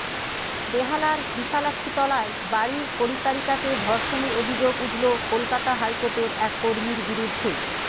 বেহালার বিশালাক্ষীতলায় বাড়ির পরিচারিকাকে ধর্ষণের অভিযোগ উঠল কলকাতা হাইকোর্টের এক কর্মীর বিরুদ্ধে